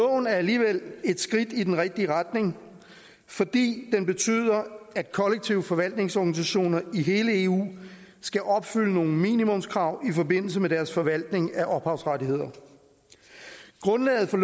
er alligevel et skridt i den rigtige retning fordi det betyder at kollektiv forvaltnings organisationer i hele eu skal opfylde nogle minimumskrav i forbindelse med deres forvaltning af ophavsrettigheder grundlaget for